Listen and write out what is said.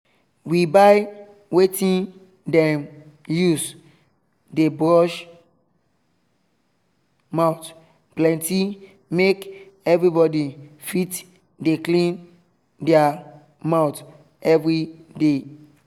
we buy wetin dem dey use wash mouth plenty make everybody fit dey clean their mouth everyday.